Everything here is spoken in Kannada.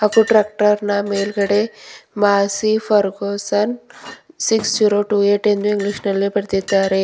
ಗು ಟ್ರ್ಯಾಕ್ಟರ್ ನ ಮೇಲ್ಗಡೆ Massey Ferguson six zero two eight ಎಂದು ಇಂಗ್ಲಿಷ್ ನಲ್ಲಿ ಬರ್ದಿದ್ದಾರೆ.